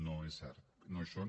no és cert no hi són